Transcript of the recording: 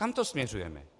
Kam to směřujeme?